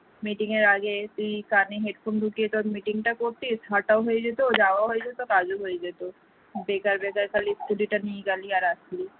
meeting এর আগে তুই কানে headphone টা ঢুকিয়ে তোর meeting টা করতিস হাটাও হয়ে যেত যাওয়া হয়ে যেত কাজও হয়ে যেত বেকার বেকার খালি scooty টা নিয়ে গেলি আর আসলি